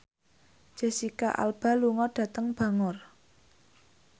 Jesicca Alba lunga dhateng Bangor